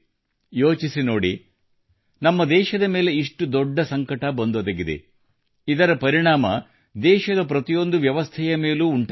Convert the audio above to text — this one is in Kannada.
ಯೋಚಿಸಿ ನೋಡಿ ನಮ್ಮ ದೇಶದ ಮೇಲೆ ಇಷ್ಟು ದೊಡ್ಡ ಸಂಕಟ ಬಂದೊದಗಿದೆ ಇದರ ಪರಿಣಾಮ ದೇಶದ ಪ್ರತಿಯೊಂದು ವ್ಯವಸ್ಥೆಯ ಮೇಲೂ ಉಂಟಾಗಿದೆ